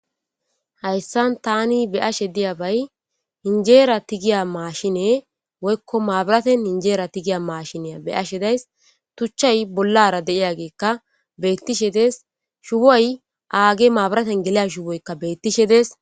Hayssan tani beashe diya bay injeera tigiya maashine woykko maabiraten injeera tigiya maashineya be7ashe days tuchchay bollara de7iya geekka beettishe dees shuway aage maabiraten geliya shuwoykka beettishe dees